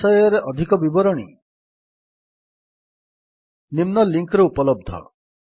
ଏହି ବିଷୟରେ ଅଧିକ ବିବରଣୀ ନିମ୍ନ ଲିଙ୍କ୍ ରେ ଉପଲବ୍ଧ